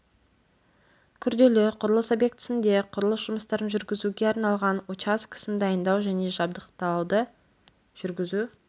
күрделі құрылыс объектісінде құрылыс жұмыстарын жүргізуге арналған учаскесін дайындау және жабдықтауды жүргізу